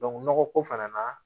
nɔgɔ ko fana na